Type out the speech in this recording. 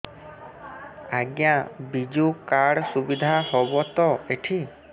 ଆଜ୍ଞା ବିଜୁ କାର୍ଡ ସୁବିଧା ହବ ତ ଏଠି